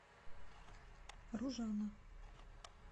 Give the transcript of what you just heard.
ружана